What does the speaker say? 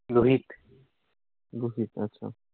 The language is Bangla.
লুহিত, আচ্ছা